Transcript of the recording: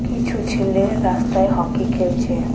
কিছু ছেলে রাস্তায় হকি খেলছে.